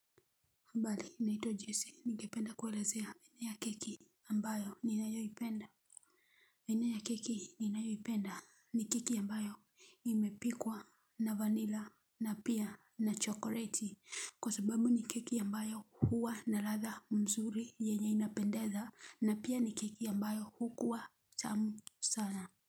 Habari naitwa Joisi ningependa kuelezea aina ya keki ambayo ninayoipenda aina ya keki ninayoipenda ni keki ambayo imepikwa na vanila na pia na chokoleti. Kwa sababu ni keki ambayo huwa na ladha nzuri yenye inapendeza na pia ni keki ambayo hukuwa tamu sana.